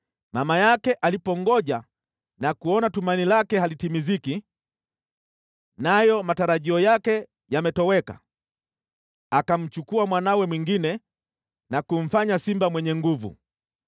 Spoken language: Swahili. “ ‘Mama yake alipongoja na kuona tumaini lake halitimiziki, nayo matarajio yake yametoweka, akamchukua mwanawe mwingine na kumfanya simba mwenye nguvu.